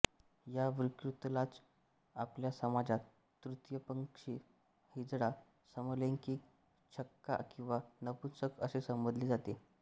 या विकृतीलाच आपल्या समाजात तृतीयपंथी हिजडा समलैंगिक छक्का किंवा नपुंसक असे संबोधले जाते